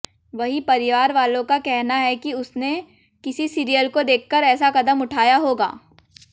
वहीं परिवारवालों का कहना है कि उसने किसी सीरियल को देखकर ऐसा कदम उठाया होगा